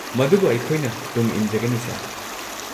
ꯃꯗꯨꯕꯨ ꯑꯩꯈꯣꯏꯅ ꯇꯨꯡꯏꯟꯖꯒꯅꯤ, ꯁꯔ꯫